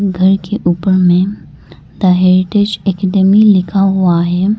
घर के ऊपर में द हेरिटेज एकेडमी लिखा हुआ है।